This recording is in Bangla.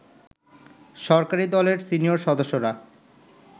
সরকারি দলের সিনিয়র সদস্যরা